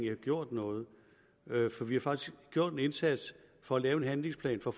har gjort noget for vi har faktisk gjort en indsats og lavet en handlingsplan for